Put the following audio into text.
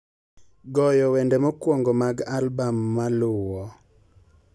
goyo wende mokwongo mag albam maluwo